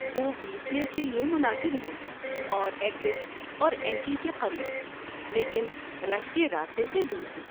وہ wheelchair کے لیے مناسب ہیں اور ایگزٹ اور انٹری کے قریب لیکن رش کے راستے سے دور ہیں۔